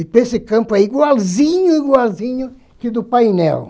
E esse campo é igualzinho, igualzinho que o do painel.